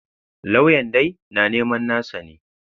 Lauyan dai na neman nasa ne.